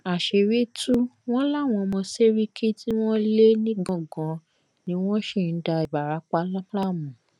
àṣírí tù wọn láwọn ọmọ sẹríkì tí wọn lé nìgangan ni wọn sì ń da ìbarapá láàmú